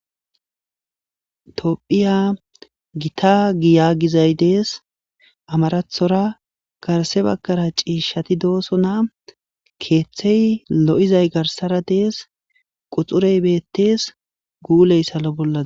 Giya Gita giya gizays Des . Amarathora garse bagara ciishat dosona, keethey lo'izay garsara Des, quxirey betes, guley salo bola Des.